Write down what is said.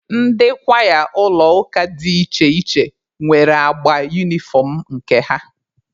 Ndị kwaya ụlọ ụka dị iche iche nwere agba unifọm nke ha.